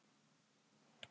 Veistu hvað það er?